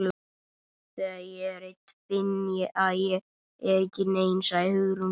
Þegar ég er ein finn ég að ég er ekki nein- sagði Hugrún.